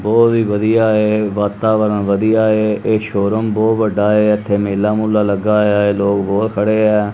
ਬਹੁਤ ਹੀ ਵਧੀਆ ਹੈ ਵਾਤਾਵਰਣ ਵਧੀਆ ਹੈ ਇਹ ਸ਼ੋਰੂਮ ਬਹੁਤ ਵੱਡਾ ਹੈ ਇੱਥੇ ਮੇਲ ਮੂਲਾ ਲੱਗਾ ਹੋਇਆ ਹੈ ਲੋਗ ਬਹੁਤ ਖੜੇ ਹੈਂ।